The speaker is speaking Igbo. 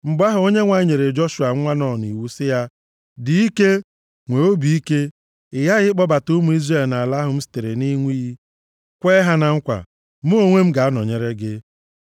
Mgbe ahụ Onyenwe anyị nyere Joshua nwa Nun iwu sị ya, “Dị ike, nwee obi ike, ị ghaghị ịkpọbata ụmụ Izrel nʼala ahụ m sitere nʼịṅụ iyi kwee ha na nkwa. Mụ onwe m ga-anọnyere gị.”